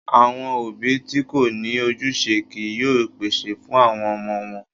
Àwọn òbí tí kò ní ojúṣe kìí yóò pèsè fún àwọn ọmọ wọn.